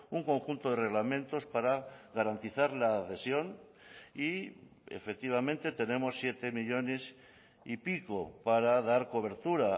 un conjunto de reglamentos para garantizar la adhesión y efectivamente tenemos siete millónes y pico para dar cobertura